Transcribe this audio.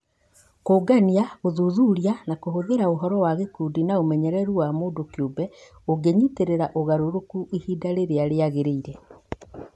Kũngania, gũthuthuria na kũhũthĩra ũhoro wa gĩkundi na ũmenyeru wa mũndũ kĩũmbe ũngĩnyĩtĩrĩra ũgarũrũku ihinda rĩrĩa rĩagĩrĩire.